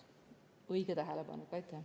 Õige tähelepanek!